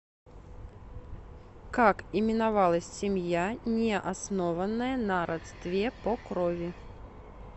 как именовалась семья не основанная на родстве по крови